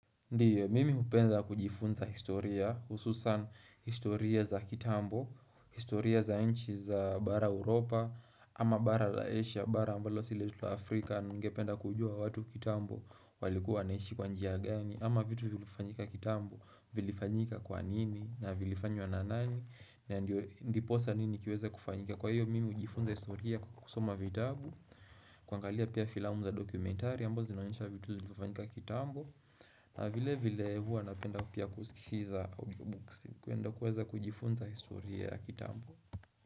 Ndiyo, mimi hupenda kujifunza historia, hususan historia za kitambo, historia za nchi za bara Europa, ama bara la Asia, bara ambalo si letu Afrika, ningependa kujua watu kitambo walikuwa wanaishi kwa njia gani, ama vitu vilifanyika kitambo, vilifanyika kwa nini, na vilifanywa na nani, na ndiposa nini kiweza kufanyika. Kwa hiyo mimi hujifunza historia kusoma vitabu kuangalia pia filamu za dokumentari ambazo zinaonyesha vitu zilivyofanyika kitambo na vile vile huwa napenda pia kusikiza audiobooks na kuenda kuweza kujifunza historia ya kitambo.